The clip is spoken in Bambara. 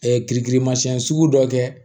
sugu dɔ kɛ